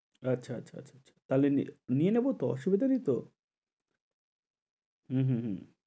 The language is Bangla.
আচ্ছা, আচ্ছা, আচ্ছা, তাইলে নিয়ে নেবো তো অসুবিধা নেই তো? হু হু হু